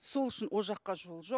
сол үшін ол жаққа жол жоқ